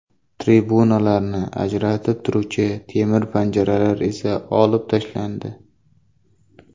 Tribunalarni ajratib turuvchi temir panjaralar esa olib tashlandi.